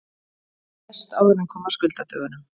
Hann lést áður en kom að skuldadögunum.